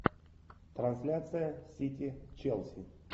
трансляция сити челси